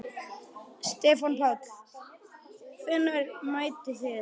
Stefán Páll: Hvenær mættuð þið?